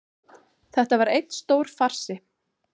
Þetta var einn stór farsi